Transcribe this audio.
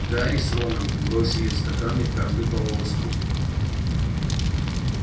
гарри с роном бросили в стаканы каждый по волоску